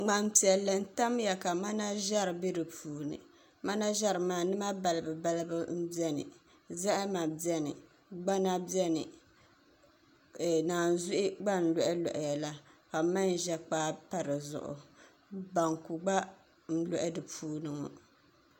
ŋmani piɛlli n tamya ka mana ʒɛri bɛ di puuni mana ʒɛri maa nima balibu balibu n biɛni zahama biɛni gbana biɛni naanzuhi gba n loɣa loɣaya la ka manʒa kpaa pa di zuɣu banku gba n loɣa di puuni ŋo